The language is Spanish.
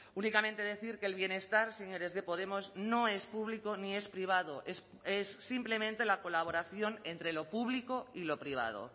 únicamente decir que el bienestar señores de podemos no es público ni es privado es simplemente la colaboración entre lo público y lo privado